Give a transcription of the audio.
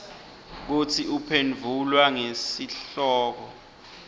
kutsi uphendvula ngesihloko